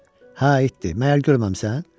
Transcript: Hə, itdi, məgər görməmisən?